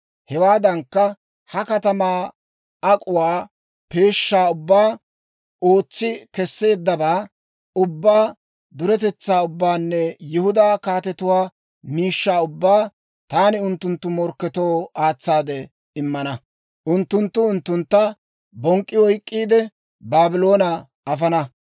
Hewaadankka, ha katamaa ak'uwaa peeshshaa ubbaa, ootsi kesseeddabaa ubbaa, duretetsaa ubbaanne Yihudaa kaatetuwaa miishshaa ubbaa taani unttunttu morkketoo aatsaade immana. Unttunttu unttuntta bonk'k'i oyk'k'iide, Baabloone afana.